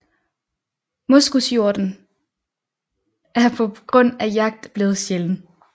Moskushjorten er på grund af jagt blevet sjælden